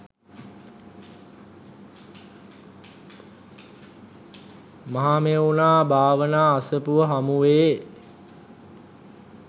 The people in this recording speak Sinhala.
මහමෙව්නා භාවනා අසපුව හමුවේ.